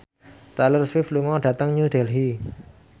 Taylor Swift lunga dhateng New Delhi